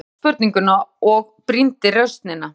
Hann endurtók spurninguna, brýndi raustina.